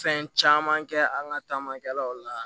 Fɛn caman kɛ an ka taamakɛlaw la